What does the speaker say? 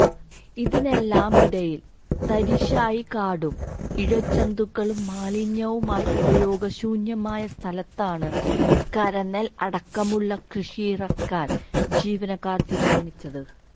ഇതിനെല്ലാമിടയിൽ തരിശായി കാടും ഇഴജന്തുക്കളും മാലിന്യവുമായി ഉപയോഗശൂന്യമായ സ്ഥലത്താണ് കരനെൽ അടക്കമുള്ള കൃഷിയിറക്കാൻ ജീവനക്കാർ തീരുമാനിച്ചത്